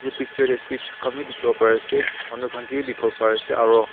Picture te switch khanbi dekhibole bare ase manu khan kebi dekhi bole bare ase aro--